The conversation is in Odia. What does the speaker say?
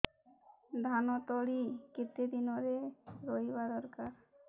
ଧାନ ତଳି କେତେ ଦିନରେ ରୋଈବା ଦରକାର